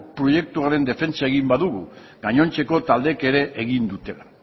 proiektuaren defentsa egin badugu gainontzeko taldeek ere egin dutela